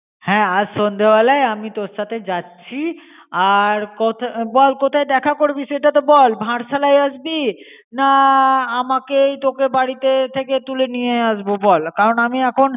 হ্যাঁ আজ সন্দে বেলায় আমি তোর সাথে যাচি. আর কোথা, বল কোথায় দেখা করবি সেটা তো বল? ভারসালয় আসবি? না আমাকেই তোকে বাড়িতে ঠিকে তুলে নিয়ে আসব বল. কারণ আমি এখন